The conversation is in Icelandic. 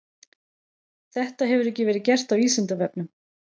Þetta hefur ekki verið gert á Vísindavefnum.